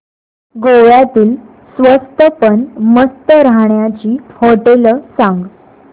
गोव्यातली स्वस्त पण मस्त राहण्याची होटेलं सांग